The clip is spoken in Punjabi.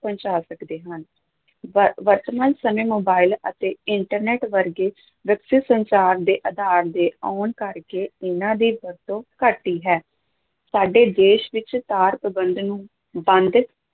ਪਹੁੰਚਾ ਸਕਦੇ ਹਾਂ, ਵ ਵਰਤਮਾਨ ਸਮੇਂ ਮੋਬਾਈਲ ਤੇ internet ਵਰਗੇ ਵਿਕਸਿਤ ਸੰਚਾਰ ਦੇ ਆਧਾਰ ਦੇ ਆਉਣ ਕਰਕੇ ਇਹਨਾਂ ਦੀ ਵਰਤੋਂ ਘਟੀ ਹੈ, ਸਾਡੇ ਦੇਸ਼ ਵਿੱਚ ਤਾਰ ਪ੍ਰਬੰਧ ਨੂੰ ਬੰਦ